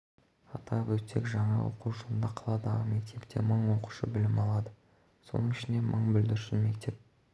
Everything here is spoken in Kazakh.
атап өтсек жаңа оқу жылында қаладағы мектепте мың оқушы білім алады соның ішінде мың бүлдіршін мектеп